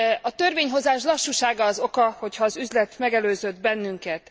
A törvényhozás lassúsága az oka, hogy az üzlet megelőzött bennünket.